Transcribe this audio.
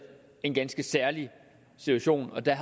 en ganske særlig situation og at der